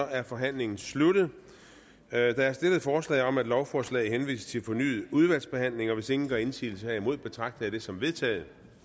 er forhandlingen sluttet der er stillet forslag om at lovforslaget henvises til fornyet udvalgsbehandling hvis ingen gør indsigelse herimod betragter jeg det som vedtaget